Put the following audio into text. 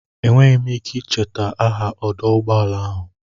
Enweghị m ike icheta aha ọdụ ụgbọala ahụ.